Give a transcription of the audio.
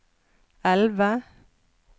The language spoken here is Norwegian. elve